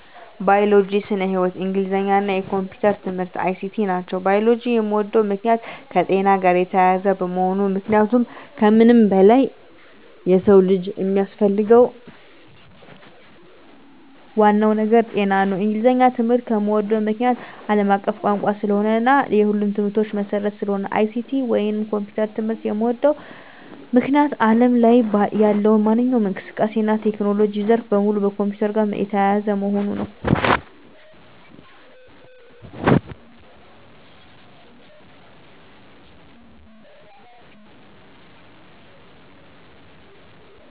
ባዮሎጂ (ስነ-ህይዎት)፣ እንግሊዘኛ እና የኮምፒዩተር ትምህርት(ICT) ናቸው። ባዮሎጂን የምወድበት ምክንያት - የከጤና ጋር የተያያዘ በመሆኑ ምክንያቱም ከምንም በላይ የሰው ልጅ የሚያስፈልገው ዋናው ነገር ጤና ነው። እንግሊዘኛን ትምህርት የምዎድበት ምክንያት - አለም አቀፍ ቋንቋ ስለሆነ እና የሁሉም ትምህርቶች መሰረት ስለሆነ ነው። ICT ወይንም የኮምፒውተር ትምህርት የምዎድበት ምክንያት አለም ላይ ያለው ማንኛውም እንቅስቃሴ እና የቴክኖሎጂ ዘርፍ በሙሉ ከኮምፒውተር ጋር የተያያዘ በመሆኑ ነው።